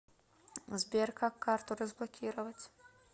сбер как карту разблокировать